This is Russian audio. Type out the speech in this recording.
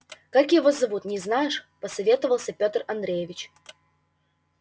как его зовут не знаешь посоветовался петр андреевич